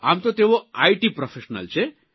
આમ તો તેઓ આઇટી પ્રોફેશનલ છે